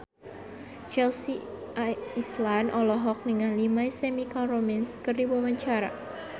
Chelsea Islan olohok ningali My Chemical Romance keur diwawancara